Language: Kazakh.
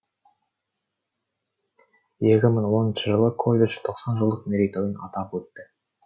екі мың он үшінші жылы колледж тоқсан жылдық мерейтойын атап өтті